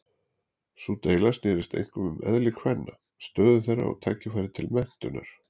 Sú deila snerist einkum um eðli kvenna, stöðu þeirra og tækifæri til menntunar.